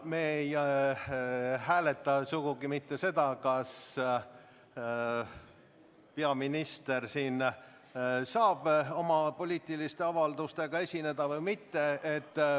Me ei hääleta sugugi mitte seda, kas peaminister saab siin oma poliitilise avaldusega esineda või mitte.